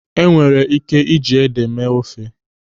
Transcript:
Enwere ị́ké iji ede mee ofe.